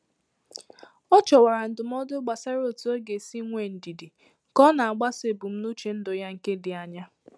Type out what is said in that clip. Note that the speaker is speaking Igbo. Ọ chọwara ndụmọdụ gbasara otu ọ ga-esi nwee ndidi ka ọ na-agbaso ebumnuche ndụ ya nke dị anya